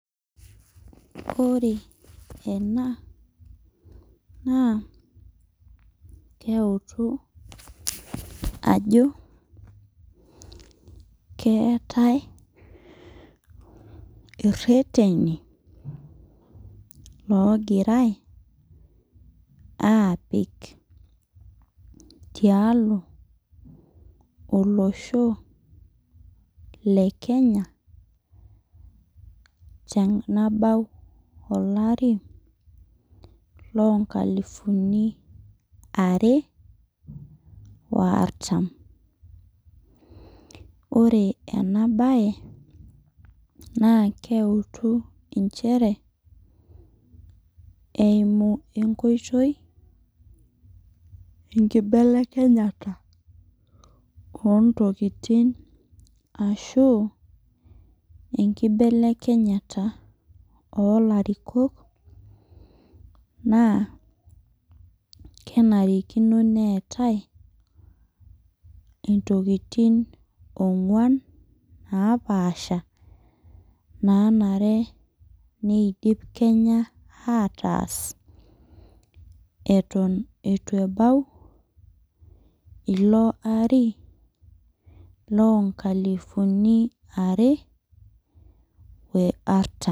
Ore ena naa keutu ajo keetae ireteni ogirai apik tialo olosho le Kenya tenabau olari loo nkalifuni uni are woo artam. Ore ena bae naa keutu inchere eimu enkotoi enkibelekenyata oo ntokitin ashu inkebelekenyata oo larikok neetae intokitin ong'uan napasha nenare nidim Kenya ataas eton eitu ebau ilo ari loo nkalifuni are artam.